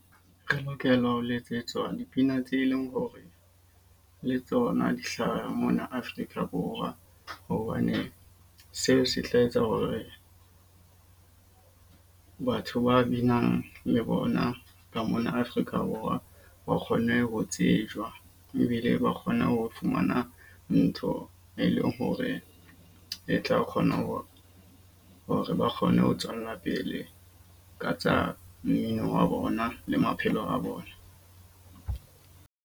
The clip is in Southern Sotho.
Re lokela ho letsetswa dipina tse leng hore le tsona di hlaha mona Afrika Borwa. Hobane seo se tla etsa hore batho ba binang le bona ka mona Afrika Borwa ba kgone ho tsejwang. Ebile ba kgone ho fumana ntho e leng hore e tla kgona ho hore ba kgone ho tswella pele ka tsa mmino wa bona le maphelo a bona.